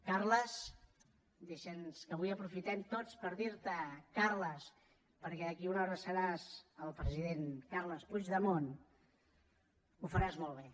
carles dir te sents que avui aprofitem tots per dir te carles perquè d’aquí una hora seràs el president carles puigdemont ho faràs molt bé